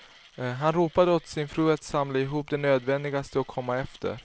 Han ropade åt sin fru att samla ihop det nödvändigaste och komma efter.